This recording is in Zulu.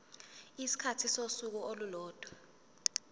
isikhathi sosuku olulodwa